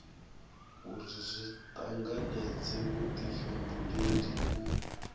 uri zwi tanganedze vhudifhinduleli u